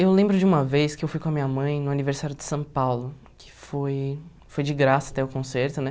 Eu lembro de uma vez que eu fui com a minha mãe no aniversário de São Paulo, que foi foi de graça até o concerto, né?